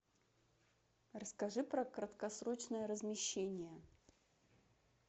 расскажи про краткосрочное размещение